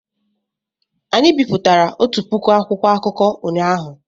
Anyị bipụtara otu puku akwụkwọ akụkọ ụnyahụ